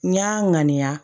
N y'a ŋaniya